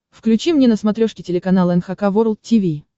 включи мне на смотрешке телеканал эн эйч кей волд ти ви